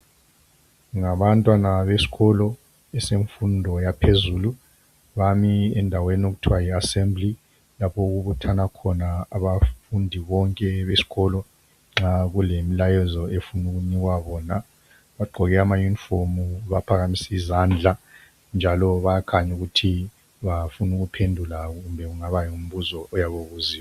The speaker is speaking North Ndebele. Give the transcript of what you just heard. Ngabantwana besikolo semfundo yaphezulu bami endaweni okuthiwa yi assembly lapho okubuthana khona abafundi bonke besikolo nxa kulemlayezi efuna ukunikwa bona bagqoke amayunifomu baphakamise izandla njalo bayakhanya ukuthi bafuna ukuphendula kumbe kungaba ngumbuzo oyabe ubuziye.